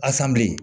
Asanbilen